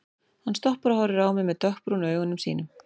Hann stoppar og horfir á mig með dökkbrúnu augunum sínum.